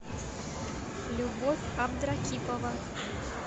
любовь абдракипова